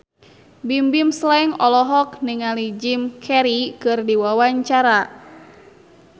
Bimbim Slank olohok ningali Jim Carey keur diwawancara